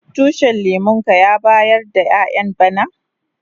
Tushin lemun ka ya bayar da ƴayan bana?